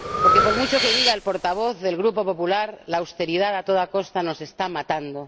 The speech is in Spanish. Porque, por mucho que diga el portavoz del Grupo Popular, la austeridad a toda costa nos está matando.